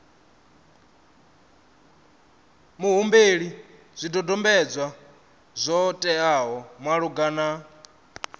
muhumbeli zwidodombedzwa zwo teaho malugana